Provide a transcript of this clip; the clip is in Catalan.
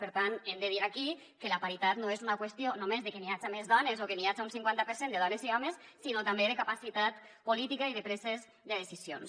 per tant hem de dir aquí que la paritat no és una qüestió només de que n’hi haja més dones o de que n’hi haja un cinquanta per cent de dones i homes sinó també de capacitat política i de preses de decisions